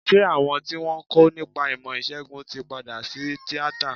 Ṣé àwọn tí wọ́n ń kọ́ nípa ìmọ̀ ìsègùn tí padà sí tíátà?